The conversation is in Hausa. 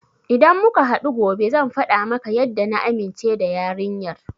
Idan muka haɗu gobe zan faɗa maka yadda na amince da yarinyar.